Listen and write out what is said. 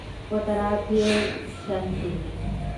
ꯀꯣꯠꯇꯔꯊꯤꯜ ꯁꯟꯀꯨꯟꯅꯤ